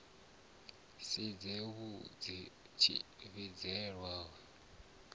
si dze muvhidzi tshivhidzelwa u